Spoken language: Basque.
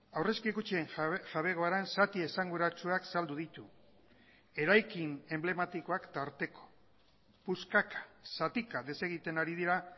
aurrezki kutxen jabegoaren zati esanguratsuak saldu ditu eraikin enblematikoak tarteko puskaka zatika desegiten ari dira